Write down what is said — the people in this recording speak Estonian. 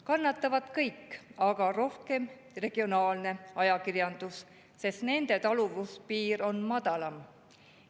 Kannatavad kõik, aga rohkem kannatab regionaalne ajakirjandus, sest nende taluvuspiir on madalam.